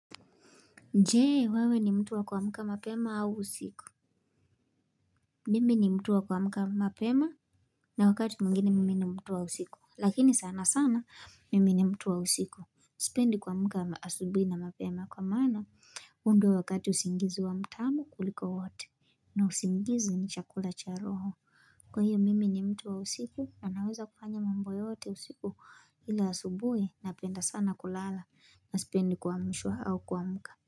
Je wewe ni mtu wa kuamka mapema au usiku mimi ni mtu wa kuamka mapema na wakati mwimgine mimi ni mtu wa usiku lakini sana sana mimi ni mtu wa usiku sipendi kuamka asubuhi na mapema kwa maana huu ndio wakati usingizi huwa mtamu kuliko wote na usingizi ni chakula cha roho kwa hiyo mimi ni mtu wa usiku anaweza kufanya mambo yote usiku ila asubuhi napenda sana kulala na sipendi kuamshwa au kuamka.